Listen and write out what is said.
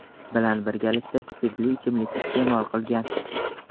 bilan birgalikda spirtli ichimlik iste’mol qilgan.